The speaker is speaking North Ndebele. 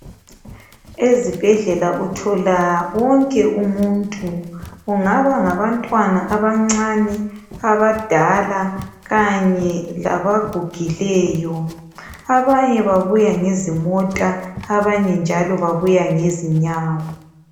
Ezibhedlela uthola wonke umuntu kungaba ngabantwana abancane, abadala kanye labagugileyo abanye babuya ngezimota abanye njalo babuya ngezinyawo.